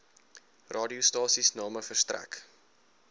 radiostasies name verstrek